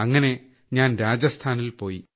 അങ്ങനെ ഞാൻ രാജസ്ഥാനിൽ പോയി